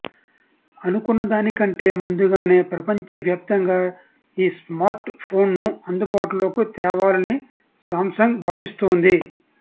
అనుకున్న దానికంటే ముందుగానే ప్రపంచవ్యాప్తంగా ఈ స్మార్ట్ ఫోన్ను అందుబాటులోకి తేవాలని సామ్సంగ్ భావిస్తోంది